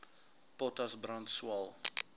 potas brand swael